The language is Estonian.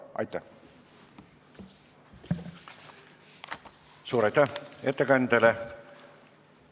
Suur aitäh ettekandjale!